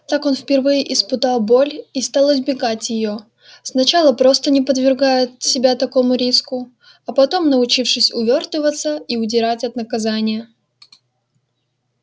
так он впервые испытал боль и стал избегать её сначала просто не подвергая себя такому риску а потом научившись увёртываться и удирать от наказания